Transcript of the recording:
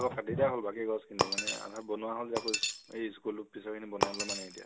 কাটি দিয়া হল বাকী গছ খিনি মানে আমি বনোৱা হল এই school পিছৰ খিনি বনাব এতিয়া